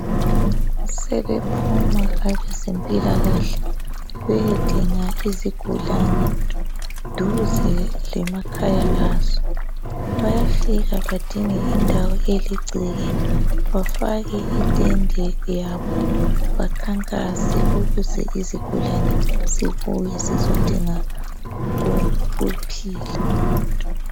Sebephuma abezempilakahle beyedinga izigulane duze lemakhya azo. Bayafika badinge indawo eligceke bafake itende yabo bakhankase ukuze izigulane zibuye zizodinga ukuphila.